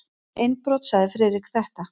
Um innbrot sagði Friðrik þetta: